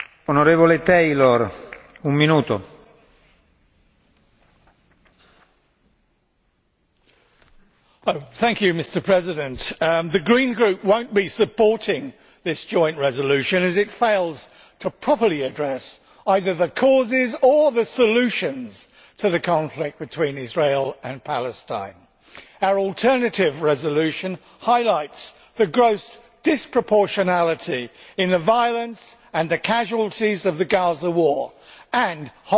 Mr President, the Green Group will not be supporting this joint resolution as it fails to properly address either the causes or the solutions to the conflict between Israel and Palestine. Our alternative resolution highlights the gross disproportionality in the violence and the casualties of the Gaza war and holds both sides to account.